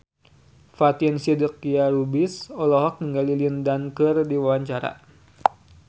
Fatin Shidqia Lubis olohok ningali Lin Dan keur diwawancara